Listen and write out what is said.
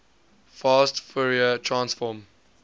fast fourier transform